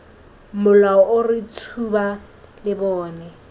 molao o re tshuba lebone